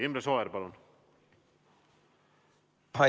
Imre Sooäär, palun!